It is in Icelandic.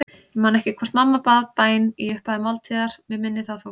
Ég man ekki hvort mamma bað bæn í upphafi máltíðar, mig minnir það þó.